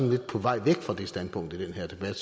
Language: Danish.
lidt på vej væk fra det standpunkt i den her debat